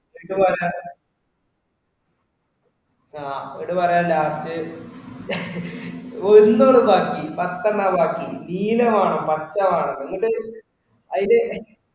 വിട്ടു പോയാ, അഹ് അവനോടു പറയുക last ഒന്ന് ഒരു ബാക്കി പത്തെണ്ണവാ ബാക്കി നീല വേണം പച്ച വേണം എങ്ങോട്ടാ ഇത് അതില്